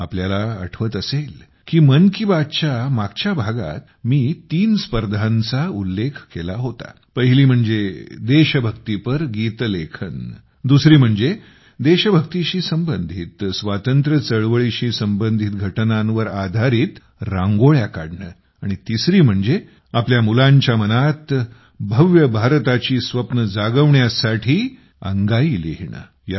तुम्हाला आठवत असेल की मन की बातच्या मागच्या भागात मी तीन स्पर्धांचा उल्लेख केला होता पहिली म्हणजे देशभक्तीपर गीत लेखन दुसरी म्हणजे देशभक्तीशी संबंधित स्वातंत्र्य चळवळीशी संबंधित घटनांवर आधारित रांगोळ्या काढणे आणि तिसरी म्हणजे आपल्या मुलांच्या मनात भव्य भारताची स्वप्ने जागवण्यासाठी अंगाई लिहिणे